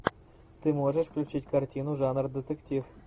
ты можешь включить картину жанр детектив